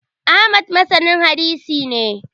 Ahmad masanin hadisi ne